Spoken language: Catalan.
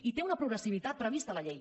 i té una progressió prevista a la llei